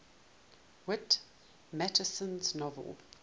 whit masterson's novel